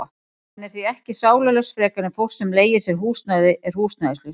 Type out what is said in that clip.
Hann er því ekki sálarlaus frekar en fólk sem leigir sér húsnæði er húsnæðislaust.